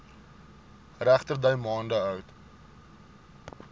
regterdy maande oud